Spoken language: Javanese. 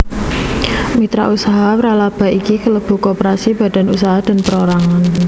Mitra usaha wralaba iki kelebu koperasi badan usaha dan perorangan